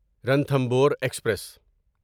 Ranthambore express